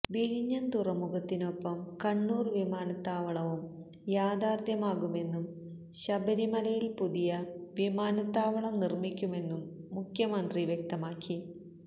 വിഴിഞ്ഞം തുറമുഖത്തിനൊപ്പം കണ്ണൂര് വിമാനത്താവളവും യാഥാര്ത്ഥ്യമാകുമെന്നും ശബരിമലയില് പുതിയ വിമാനത്താവളം നിര്മ്മിക്കുമെന്നും മുഖ്യമന്ത്രി വ്യക്തമാക്കി